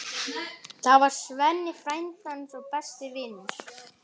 Það var Svenni, frændi hans og besti vinur.